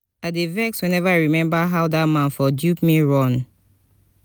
i dey vex whenever i remember how dat man for dupe me run